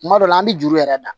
Kuma dɔ la an bɛ juru yɛrɛ da